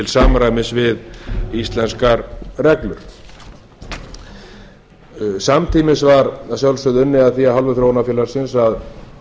samræmis við íslenskar reglur samtímis var að sjálfsögðu unnið að því af hálfu þróunarfélagsins að